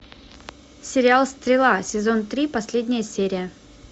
сериал стрела сезон три последняя серия